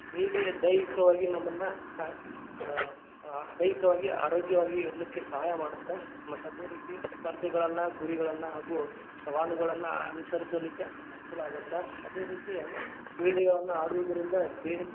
ಕ್ರೀಡೆ ದೈಹಿಕವಾಗಿ ನಮ್ಮನ್ನ ಆ ಆ ದೈಹಿಕವಾಗಿ ಆರೋಗ್ಯವಾಗಿ ಇರ್ಲಿಕ್ಕೆ ಸಹಾಯ ಮಾಡತ್ತ ಮತ್ತ್ ಅದೇ ರೀತಿ ಸ್ಪರ್ಧೆಗಳನ್ನ, ಗುರಿಗಳನ್ನ ಹಾಗೂ ಸವಾಲುಗಳನ್ನ ಅನುಸರಿಸಲಿಕ್ಕೆ ಅನುಕೂಲ ಆಗತ್ತ. ಅದೇ ರೀತಿ ಕ್ರೀಡೆಗಳನ್ನ ಆಡುವುದರಿಂದ ದೇಹಕ್ಕೆ.